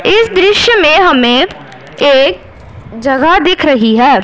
इस दृश्य में हमें एक जगह दिख रही है।